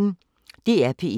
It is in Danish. DR P1